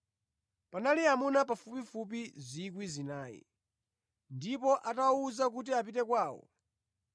Panali amuna pafupifupi 4,000. Ndipo atawawuza kuti apite kwawo,